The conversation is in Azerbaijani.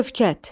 Şövkət.